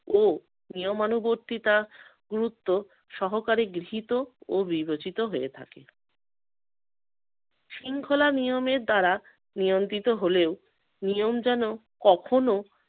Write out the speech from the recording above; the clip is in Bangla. ও নিয়মানুবর্তিতা গুরুত্ব সহকারী গৃহীত ও বিবেচিত হয়ে থাকে। শৃঙ্খলা নিয়মের দ্বারা নিয়ন্ত্রিত হলেও নিয়ম যেন কখনো